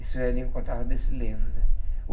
E os velhinho contava desse livro né.